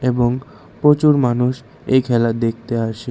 এবং প্রচুর মানুষ এই খেলা দেখতে আসে।